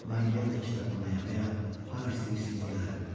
Mən yenə də kitabxanaya və ya hara istəyirsiniz gələrəm.